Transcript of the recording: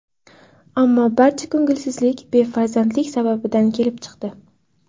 Ammo barcha ko‘ngilsizlik befarzandlik sababidan kelib chiqdi.